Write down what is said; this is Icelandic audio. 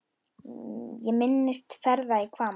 Ég minnist ferða í Hvamm.